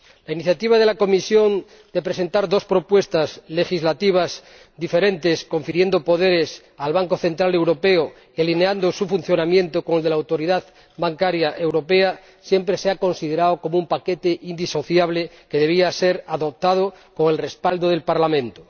La iniciativa de la Comisión de presentar dos propuestas legislativas diferentes, confiriendo poderes al Banco Central Europeo y alineando su funcionamiento con el de la Autoridad Bancaria Europea, siempre se ha considerado como un paquete indisociable que debía ser adoptado con el respaldo del Parlamento.